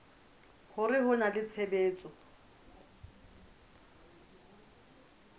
hore ho na le tshebetso